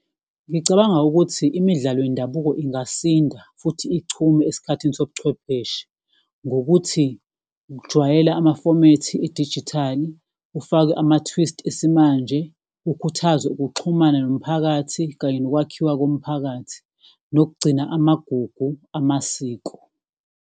Ngicabanga ukuthi imidlalo yendabuko ingasinda futhi ichume esikhathini sobuchwepheshe, ngokuthi kujwayele amafomethi edijithali, kufakwe ama-twist esimanje, kukhuthazwe ukuxhumana nomphakathi kanye nokwakhiwa komphakathi, nokugcina amagugu amasiko.